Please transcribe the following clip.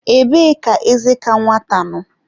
Ebee ka eze ka nwata nọ?